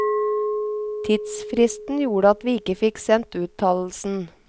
Tidsfristen gjorde at vi ikke fikk sendt uttalelsen.